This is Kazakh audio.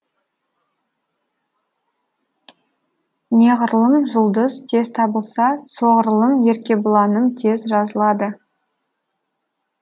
неғұрлым жұлдыз тез табылса соғұрлым еркебұланым тез жазылады